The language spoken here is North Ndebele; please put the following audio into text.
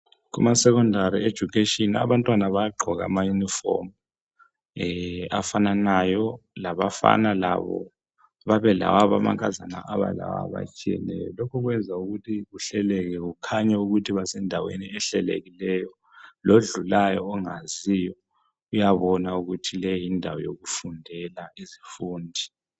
Kumasecondary education abantwana bayagqoka amayunifomu afananayo labafana labo babe lawabo, amankazana aba lawabo atshiyeneyo. Lokhu kwenza ukuthi kuhleleke kukhanye ukuthi basendaweni ehlelekileyo lodlulayo ongaziyo uyabona ukuthi leyi yindawo yokufundela izifundi.